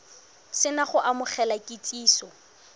se na go amogela kitsiso